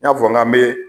N y'a fɔ n k'an bɛ